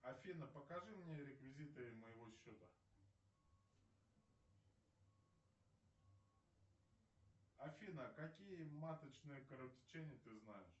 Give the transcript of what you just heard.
афина покажи мне реквизиты моего счета афина какие маточные кровотечения ты знаешь